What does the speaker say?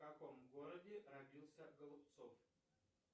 в каком городе родился голубцов